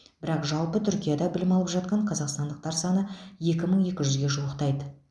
бірақ жалпы түркияда білім алып жатқан қазақстандықтар саны екі мың екі жүзге жуықтайды